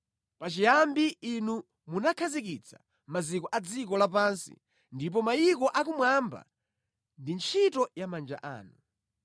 Pachiyambi Inu munakhazikitsa maziko a dziko lapansi ndipo mayiko akumwamba ndi ntchito ya manja anu.